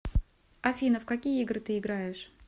афина в какие игры ты играешь